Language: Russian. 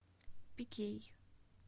пикей